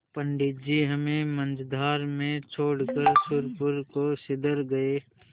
पंडित जी हमें मँझधार में छोड़कर सुरपुर को सिधर गये